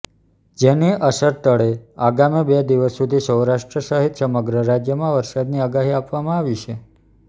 જેની અસરતળે આગામી બે દિવસ સુધી સૌરાષ્ટ્ર સહિત સમગ્ર રાજ્યમાં વરસાદની આગાહી આપવામાં આવી છે